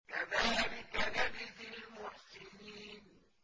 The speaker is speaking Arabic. كَذَٰلِكَ نَجْزِي الْمُحْسِنِينَ